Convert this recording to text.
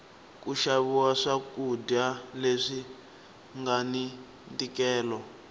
ku xaviwa swa kudya leswi ngani ntikelo